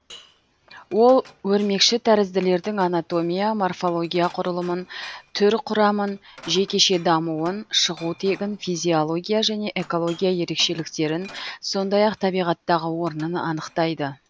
ол өрмекшітәрізділердің анатомия морфология құрылымын түр құрамын жекеше дамуын шығу тегін физиология және экология ерекшеліктерін сондай ақ табиғаттағы орнын анықтайды